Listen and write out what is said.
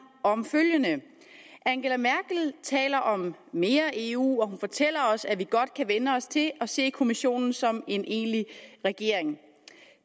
om følgende angela merkel taler om mere eu og hun fortæller os at vi godt kan vænne os til at se kommissionen som en egentlig regering